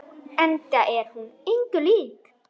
Enda er hún engu lík.